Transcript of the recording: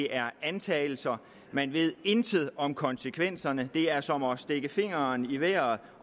er antagelser man ved intet om konsekvenserne det er som at stikke fingeren i vejret